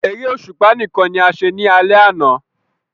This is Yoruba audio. Eré òṣùpá nìkan ní a ṣe ní alè àna